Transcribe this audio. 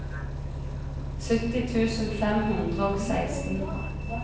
sytti tusen fem hundre og seksten